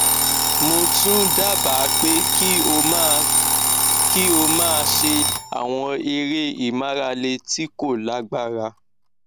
mo tún dábàá pé kí o máa kí o máa ṣe àwọn eré ìmárale tí kò lágbára